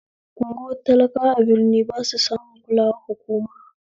Unguwan talakawa a birni basu samun kulawar hukuma